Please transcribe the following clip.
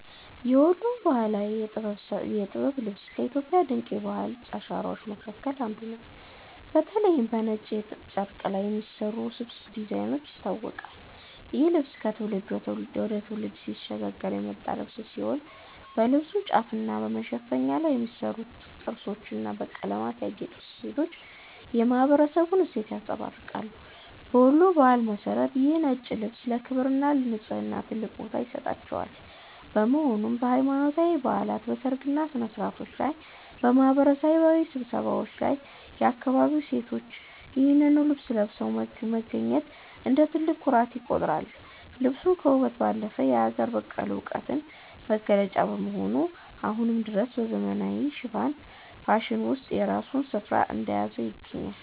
የወሎ ባህላዊ የጥበብ ልብስ ከኢትዮጵያ ድንቅ የባህል አሻራዎች መካከል አንዱ ሲሆን፤ በተለይም በነጭ የጥጥ ጨርቅ ላይ በሚሰሩት ውስብስብ ዲዛይኖች ይታወቃል። ይህ ልብስ ከትውልድ ወደ ትውልድ ሲሸጋገር የመጣ ጥበብ ሲሆን፣ በልብሱ ጫፍና በመሸፈኛው ላይ የሚሰሩት ጥርሶችና በቀለማት ያጌጡ ስፌቶች የማኅበረሰቡን እሴት ያንጸባርቃሉ። በወሎ ባህል መሠረት ይህ ነጭ ልብስ ለክብርና ለንጽሕና ትልቅ ቦታ ይሰጠዋል፤ በመሆኑም በሃይማኖታዊ በዓላት፣ በሰርግ ሥነ-ሥርዓቶችና በማኅበራዊ ስብሰባዎች ላይ የአካባቢው ሴቶች ይህንኑ ልብስ ለብሰው መገኘት እንደ ትልቅ ኩራት ይቆጠራል። ልብሱ ከውበት ባለፈ የአገር በቀል ዕውቀት መገለጫ በመሆኑ፣ አሁንም ድረስ በዘመናዊው ፋሽን ውስጥ የራሱን ስፍራ እንደያዘ ይገኛል።